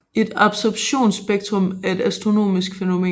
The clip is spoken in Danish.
Et absorptionsspektrum er et astronomisk fænomen